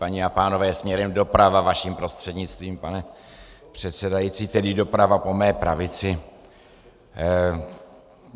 Paní a pánové směrem doprava, vaším prostřednictvím, pane předsedající, tedy doprava po mé pravici.